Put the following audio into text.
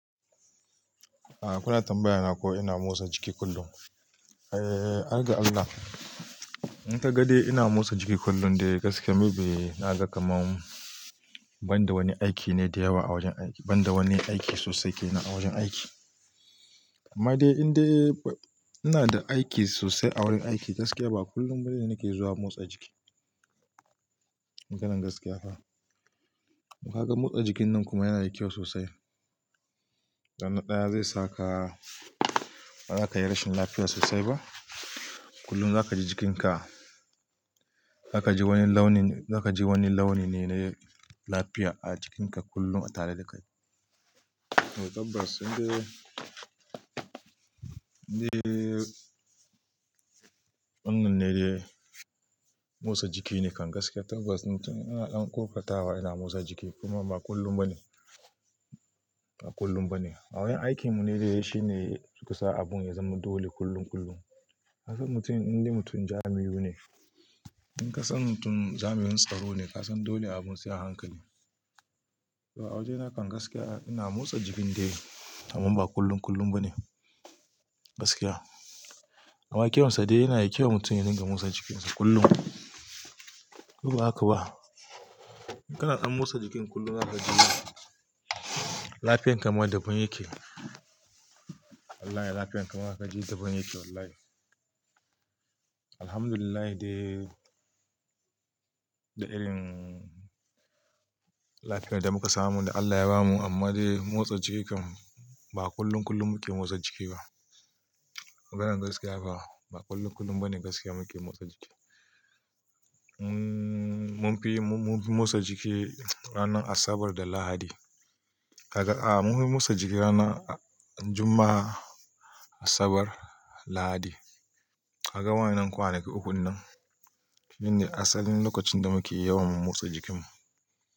Ah, kuna tambayana ko ina motsa jiki kullum. Eh, harga Allah, in ka ga dai ina motsa jiki kullum, dai gaskiya me be na ga kamar ban da wani aiki ne da yawa a wajen aiki, ban da wani aiki sosai ke nan a wajen aiki. Amma dai in dai ina da aiki sosai a wurin aiki gaskiya ba kullum bane nake zuwa motsa jiki. Irin gaskiya fa. Kaga motsa jikin nan kuma yana da kyau sosai. Don na ɗaya, zai saka ba za ka yi rashin lafiya sosai ba. Kullum za ka ji jikinka, za ka ji wani launi, za ka ji wani launi ne, na lafiya a jikinka kullum a tare da kai. Tabas in dai, in dai wannan ne dai, motsa jiki ne kan gaskiya. Tabas mutum ana ƙoƙartawa yana motsa jiki kuma ba kullum bane, ba kullum bane. A wurin aikinmu ne dai dai shi ne suka sa abun ya zama dole kullum kullum. Ka san mutum in dai mutum jamiu ne. In ka san mutum jami'in tsaro ne, ka san dole abun sai a hankali. Toh a wajena kan gaskiya ina motsa jikin dai, amma ba kullum kullum bane gaskiya. Amma kyawunsa dai yana da kyau mutum ya dinga motsa jikinsa kullum. Ko ba haka ba? Kanan ɗan motsa jikin kullum za ka ji, lafiyan ka ma daban yake. Wallahi lafiyan ka ma za ka ji daban yake wallahi. Alhamdulillah dai da irin, lafiyan da muka samu, da Allah ya bamu amma dai motsa jiki kam, ba kullum kullum muke motsa jiki ba. Ganan gaskiya ba, ba kullum kullum bane gaskiya muke motsa jiki. Mun fi, mun fi motsa jiki ranar Asabar da Lahadi. Ka ga, a mun fi motsa jiki ranar Juma'a, Asabar, Lahadi. Ka gan wa'innan kwanaki ukun nan, shine asalin lokacin da muke yawan motsa jikinmu.